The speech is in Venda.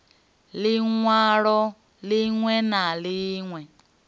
liṋ walo ḽiṋwe na ḽiṋwe